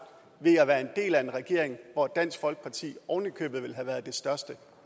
ved at være en del af en regering hvor dansk folkeparti oven i købet ville have været det største